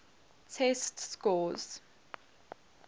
test scores